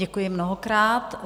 Děkuji mnohokrát.